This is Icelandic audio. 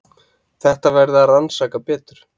Þetta verði að rannsaka betur.